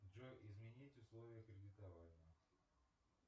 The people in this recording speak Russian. джой изменить условия кредитования